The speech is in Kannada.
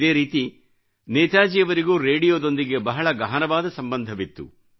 ಇದೇ ರೀತಿ ನೇತಾಜಿಯವರಿಗೂರೇಡಿಯೋದೊಂದಿಗೆ ಬಹಳ ಗಹನವಾದ ಸಂಬಂಧವಿತ್ತು